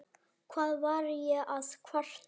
Hvað var ég að kvarta?